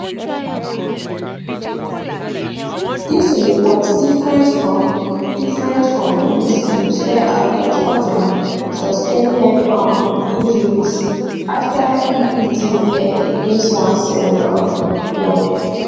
dis report different from different from police claimswey say albert ojwang sustain head um injuries afta e hit im head against one cell um wall